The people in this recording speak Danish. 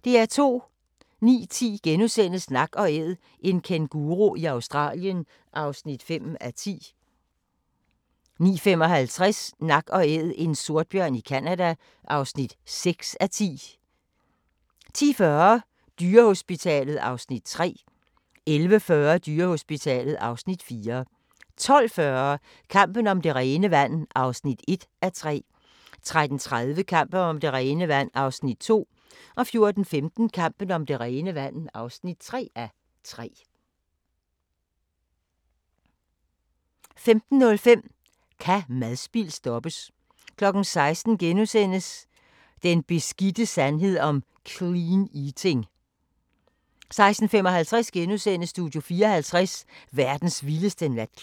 09:10: Nak & Æd – en kænguru i Australien (5:10)* 09:55: Nak & Æd – en sortbjørn i Canada (6:10)* 10:40: Dyrehospitalet (Afs. 3) 11:40: Dyrehospitalet (Afs. 4) 12:40: Kampen om det rene vand (1:3) 13:30: Kampen om det rene vand (2:3) 14:15: Kampen om det rene vand (3:3) 15:05: Kan madspild stoppes? 16:00: Den beskidte sandhed om "clean eating" 16:55: Studio 54 – verdens vildeste natklub *